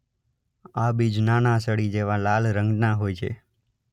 આ બીજ નાનાં સળી જેવાં લાલ રંગનાં હોય છે.